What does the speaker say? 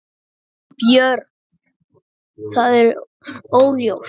Björn: Það er óljóst?